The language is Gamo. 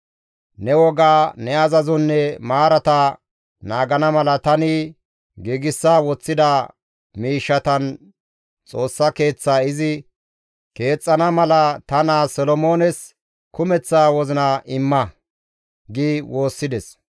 Ne wogaa, ne azazonne maarata naagana mala tani giigsa woththida miishshatan Xoossa Keeththaa izi keexxana mala ta naa Solomoones kumeththa wozina imma» gi woossides.